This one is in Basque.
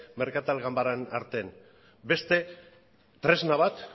merkatal ganbaren artean beste tresna bat